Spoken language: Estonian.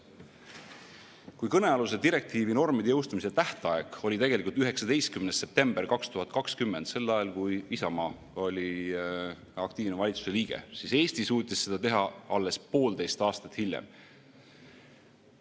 Kui kõnealuse direktiivi normide jõustumise tähtaeg oli 19. september 2020, sel ajal, kui Isamaa oli aktiivne valitsuse liige, siis Eesti suutis seda teha alles poolteist aastat hiljem.